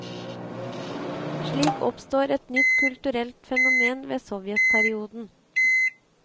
Slik oppstår et nytt kulturelt fenomen med sovjetperioden.